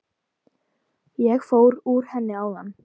Ég fór úr henni áðan.